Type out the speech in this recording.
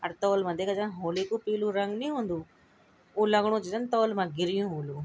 अर तोल मा देखा जरा होली का पीलू रंग नी हन्दू वो लगणु च जन तोल मा गिरियुं होलू।